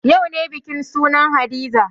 Yau ne bikin sunan hadiza